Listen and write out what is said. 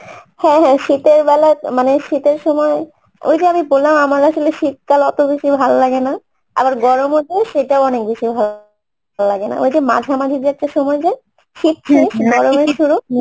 হ্যাঁ হ্যাঁ শীতের বেলা, মানে শীতের সময় ওই যে আমি বললাম আমার আসলে শীতকাল অত বেশি ভাল লাগেনা আবার গরমও তাই সেটাও অনেক বেশি লাগেনা ওই যে মাঝামাঝি একটা সময় যায় শীত শেষ গরমের শুরু